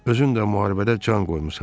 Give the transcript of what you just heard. Özün də müharibədə can qoymusan.